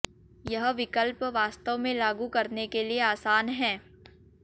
यह विकल्प वास्तव में लागू करने के लिए आसान है